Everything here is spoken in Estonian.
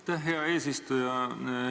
Aitäh, hea eesistuja!